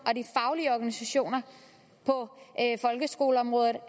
og de faglige organisationer på folkeskoleområdet